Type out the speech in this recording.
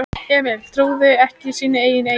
Emil trúði ekki sínum eigin eyrum.